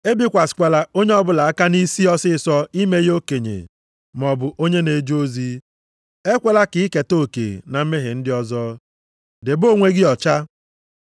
Ebikwasịkwala onye ọbụla aka nʼisi ọsịịsọ ime ya okenye maọbụ onye na-eje ozi. Ekwela ka i keta oke na mmehie ndị ọzọ. Debe onwe gị ọcha.